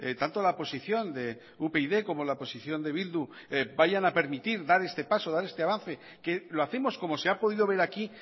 tanto la posición de upyd como la posición de bildu vayan a permitir dar este paso dar este avance que lo hacemos como se ha podido ver aquí